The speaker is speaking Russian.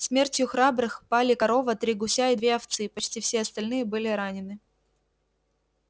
смертью храбрых пали корова три гуся и две овцы почти все остальные были ранены